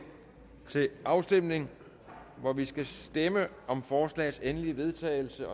til afstemning hvor vi skal stemme om forslagets endelige vedtagelse